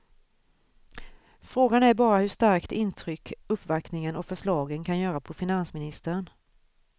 Frågan är bara hur starkt intryck uppvaktningen och förslagen kan göra på finansministern.